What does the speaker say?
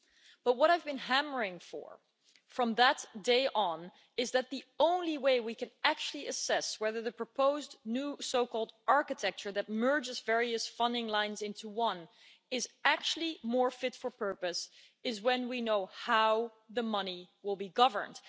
But what I've been hammering for, from that day on, is that the only way we could actually assess whether the proposed new so called architecture that merges various funding lines into one would be more fit for purpose is if we knew how the money would be governed.